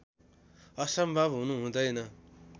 असम्भव हुनु हुँदैन